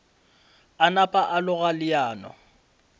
a napa a loga leano